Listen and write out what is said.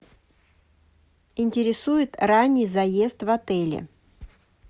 интересует ранний заезд в отели